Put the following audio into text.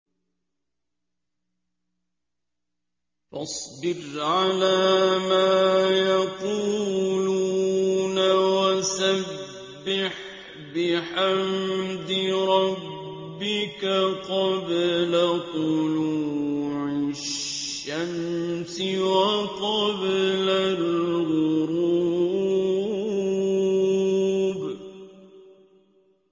فَاصْبِرْ عَلَىٰ مَا يَقُولُونَ وَسَبِّحْ بِحَمْدِ رَبِّكَ قَبْلَ طُلُوعِ الشَّمْسِ وَقَبْلَ الْغُرُوبِ